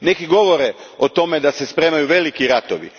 Neki govore o tome da se spremaju veliki ratovi.